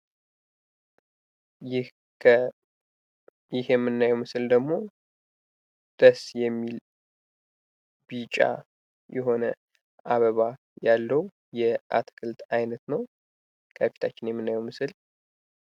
ይህ የምናየው ምስል ደግሞ ደስ የሚል ቢጫ የሆነ አበባ ያለው የአትክልት አይነት ነው. ከፊታችን ያለው ምስል